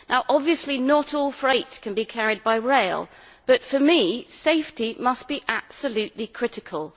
Obviously not all freight can be carried by rail but, for me, safety must be absolutely critical.